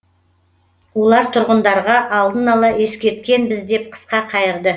олар тұрғындарға алдын ала ескерткенбіз деп қысқа қайырды